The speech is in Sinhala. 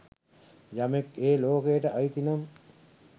යමෙක් ඒ ලෝකයට අයිතිනම්